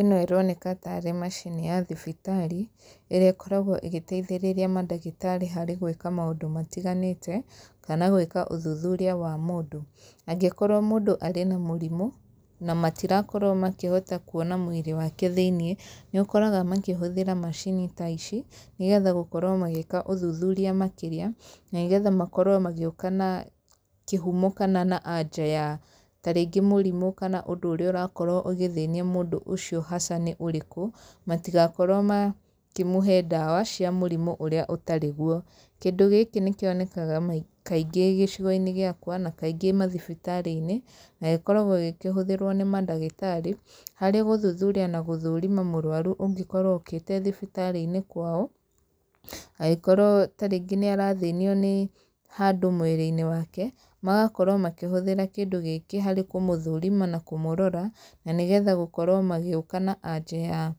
Ĩno ĩroneka tarĩ macini ya thibitarĩ, ĩrĩa ĩkoragwo ĩgĩteithĩrĩria mandagĩtarĩ harĩ gwĩka maũndũ matiganĩte, kana gwĩka ũthuthuria wa mũndũ. Angĩkorwo mũndũ arĩ na mũrimũ, na matirakorwo makĩhota kuona mwĩrĩ wake thĩiniĩ, nĩ ũkoraga makĩhũthĩra macini ta ici, nĩgetha gũkorwo magĩĩka ũthuthuria makĩria, na nĩgetha makorwo magĩũka na kĩhumo kana na anja ya tarĩngĩ mũrimũ kana ũndũ ũrĩa ũrakorwo ũgĩthĩnia mũndũ ũcio haca nĩ ũrĩkũ. Matigakorwo makĩmũhe ndawa cia mũrimũ ũrĩa ũtarĩ guo. Kĩndũ gĩkĩ nĩ kĩonekaga kaingĩ gĩcigo-inĩ gĩakwa, na kaingĩ mathibitarĩ-inĩ, na gĩkoragwo gĩkĩhũthĩrwo nĩ mandagĩtarĩ, harĩ gũthuthuria na gũthũrima mũrũaru ũngĩkorwo ũkĩte thibitarĩ-inĩ kwao, angĩkorwo tarĩngĩ nĩ arathĩnio nĩ handũ mwĩrĩ-inĩ wake, magakorwo makĩhũthĩra kĩndũ gĩkĩ harĩ kũmũthũrima na kũmũrora, na nĩgetha gũkorwo magĩũka na anja ya